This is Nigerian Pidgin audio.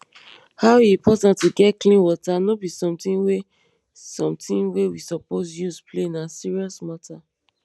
how e important to get clean water nor be somethibg wey somethibg wey we supose use play na serious matter